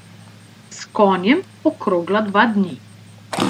S konjem okrogla dva dni.